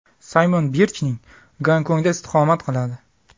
Saymon Birchning Gonkongda istiqomat qiladi.